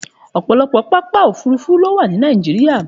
Òpọ̀lọpọ̀ pápá òfurufú ló wà ní Nàìjíríà.